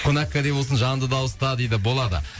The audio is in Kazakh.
қонақкәде болсын жанды дауыста дейді болады